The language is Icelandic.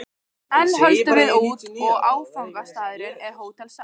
Enn höldum við út, og áfangastaðurinn er Hótel Saga.